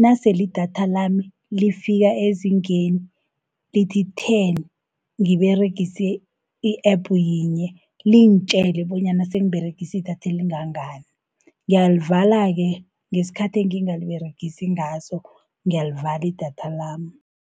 nasele idatha lami lifika ezingeni, lithi-ten ngiberegise i-app yinye, lingitjele bonyana sengiberegiei idatha elingangani. Ngiyalivala-ke ngesikhathi engingaliberegisi ngaso, ngiyalivala idatha lami.